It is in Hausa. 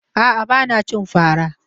A'a, ba na cin fara.